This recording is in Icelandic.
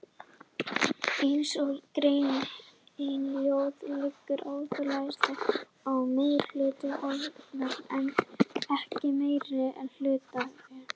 Eins og greinin hljóðar liggur aðaláherslan á meirihluta atkvæða en ekki meirihluta hlutafjáreignar.